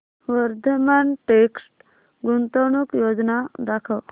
Vardhman text गुंतवणूक योजना दाखव